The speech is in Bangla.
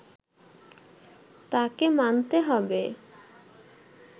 তাকে মানতে হবে”